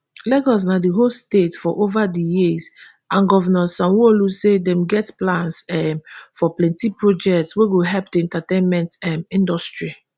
lagos na di host state for ova di years and govnor sanwoolu say dem get plans um for plenti projects wey go help di entertainment um industry